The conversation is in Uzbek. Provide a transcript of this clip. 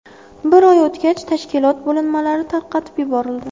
Bir oy o‘tgach, tashkilot bo‘linmalari tarqatib yuborildi.